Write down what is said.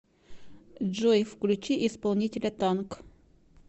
джой включи исполнителя танк